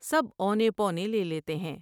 سب اونے پونے لے لیتے ہیں ۔